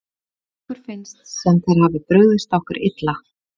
Okkur finnst sem þeir hafi brugðist okkur illa.